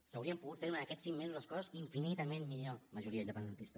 s’haurien pogut fer durant aquests cinc mesos les coses infinitament millor majoria independentista